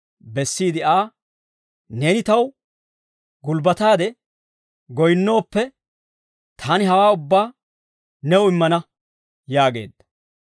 bessiide Aa, «Neeni taw gulbbataade goyinnooppe, taani hawaa ubbaa new immana» yaageedda.